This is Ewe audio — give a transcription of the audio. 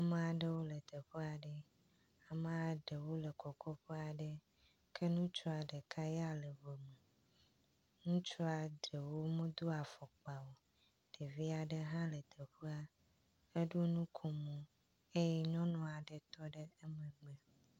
ma aɖewo le teƒaɖe ma ɖewo le kɔkɔƒe aɖe ke ŋutsua ɖeka ya le xɔme ŋutsua ɖewo modó afɔkpa o ɖeviaɖe hã le teƒa eɖó nukomo eye nyɔnua ɖe tɔɖe